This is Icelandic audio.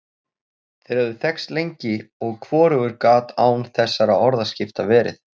Þeir höfðu þekkst lengi, og hvorugur gat án þessara orðaskipta verið.